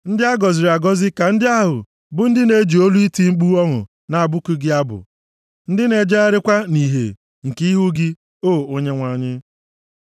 Ndị a gọziri agọzi ka ndị ahụ bụ ndị na-eji olu iti mkpu ọṅụ na-abụku gị abụ, ndị na-ejegharịkwa nʼìhè nke ihu gị, O Onyenwe anyị.